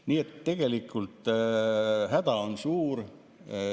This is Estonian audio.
Nii et tegelikult häda on suur.